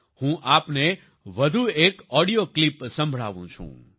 હું આપને વધુ એક ઓડિયો ક્લિપ સંભળાવું છું